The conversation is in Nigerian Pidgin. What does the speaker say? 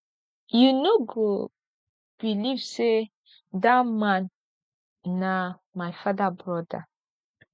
you know go believe say dat man na my father broda